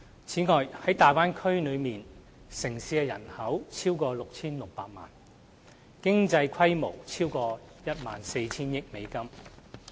此外，大灣區內的城市人口超過 6,600 萬人，經濟規模超過 14,000 億美元。